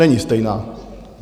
Není stejná.